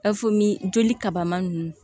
joli kaba ma nunnu